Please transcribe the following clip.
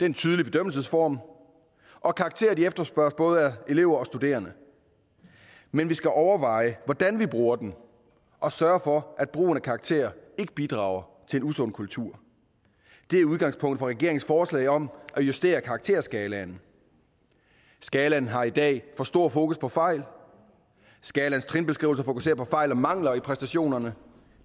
en tydelig bedømmelsesform og karakterer efterspørges både af elever og studerende men vi skal overveje hvordan vi bruger dem og sørge for at brugen af karakterer ikke bidrager til en usund kultur det er udgangspunktet for regeringens forslag om at justere karakterskalaen skalaen har i dag for stor fokus på fejl skalaens trinbeskrivelser fokuserer på fejl og mangler i præstationerne